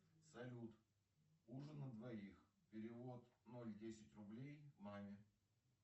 салют ужин на двоих перевод ноль десять рублей маме